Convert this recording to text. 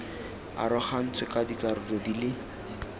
arogantswe ka dikarolo di le